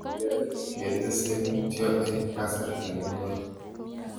Kiyae ketesei mutyo eng' kasarta ne koi